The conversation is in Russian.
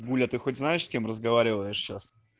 гуля ты хоть знаешь с кем разговариваешь сейчас